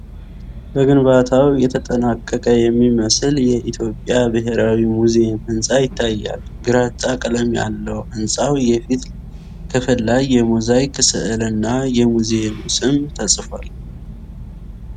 በግንባታው የተጠናቀቀ የሚመስል የኢትዮጵያ ብሔራዊ ሙዚየም ሕንፃ ይታያል። ግራጫ ቀለም ያለው ሕንፃው የፊት ክፍል ላይ የሞዛይክ ሥዕልና የሙዚየሙ ስም ተጽፏል።